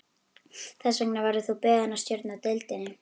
Þess vegna verður þú beðinn að stjórna deildinni